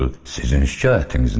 Sizin şikayətiniz nədir?